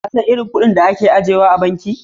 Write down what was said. Ka san iri kudin a ke ajiya a banki?